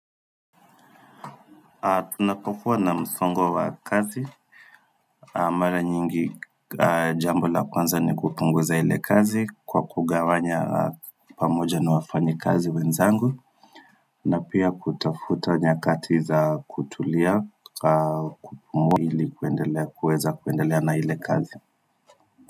Ninapokuwa na msongo wa kazi mara nyingi jambo la kwanza ni kupunguza ile kazi kwa kugawanya pamoja na wafanyikazi wenzangu na pia kutafuta nyakati za kutulia kupumua ili kuendelea kuweza kuendelea na ile kazi.